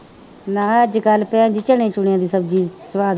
ਮੈਂ ਕਿਹਾ ਅੱਜ ਕੱਲ੍ਹ ਭੈਣ ਜੀ ਚਣੇ ਚੂਣਿਆਂ ਦੀ ਸਬਜ਼ੀ ਸਵਾਦ